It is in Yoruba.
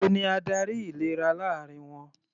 Èwo ni adarí ìlera láàrin wọn?